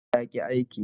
Caja ta yaki aiki